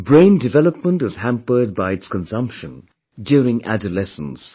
Brain development is hampered by its consumption during adolescence